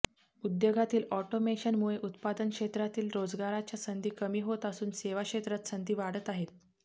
उद्योगातील ऑटोमेशन मुळे उत्पादन क्षेत्रातील रोजगाराच्या संधी कमी होत असून सेवा क्षेत्रात संधी वाढत आहेत